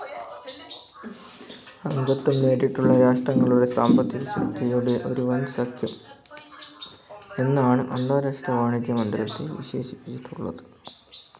അംഗത്വം നേടിയിട്ടുള്ള രാഷ്ട്രങ്ങളുടെ സാമ്പത്തികശക്തിയുടെ ഒരു വൻസഖ്യം എന്നാണ് അന്താരാഷ്ട്ര വാണിജ്യ മണ്ഡലത്തെ വിശേഷിപ്പിച്ചിട്ടുള്ളത്.